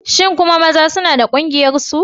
Shin maza kuma suna da ƙungiyarsu?